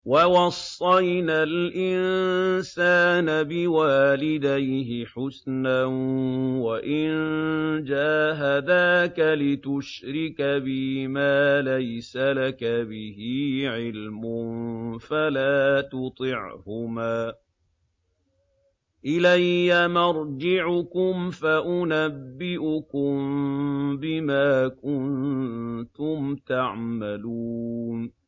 وَوَصَّيْنَا الْإِنسَانَ بِوَالِدَيْهِ حُسْنًا ۖ وَإِن جَاهَدَاكَ لِتُشْرِكَ بِي مَا لَيْسَ لَكَ بِهِ عِلْمٌ فَلَا تُطِعْهُمَا ۚ إِلَيَّ مَرْجِعُكُمْ فَأُنَبِّئُكُم بِمَا كُنتُمْ تَعْمَلُونَ